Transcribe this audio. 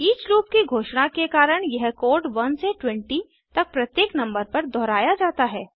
each loop की घोषणा के कारण यह कोड 1 से 20 तक प्रत्येक नंबर पर दोहराया जाता है